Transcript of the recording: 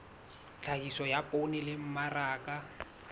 tlhahiso ya poone le mmaraka